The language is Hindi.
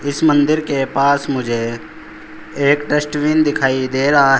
इस मंदिर के पास मुझे एक डस्टबिन दिखाई दे रहा।